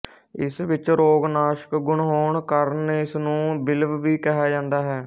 ਇਸ ਵਿੱਚ ਰੋਗ ਨਾਸ਼ਕ ਗੁਣ ਹੋਣ ਕਰਨ ਇਸ ਨੂੰ ਬਿਲਵ ਵੀ ਕਿਹਾ ਜਾਂਦਾ ਹੈ